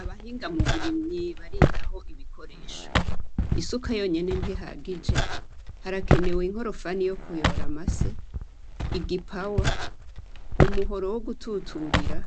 Abahinga muburimyi baritaho ibikoresho isuka yonyene ntihagije harakenewe inkorofani yokuyora amase igipawa umuhoro wogututurira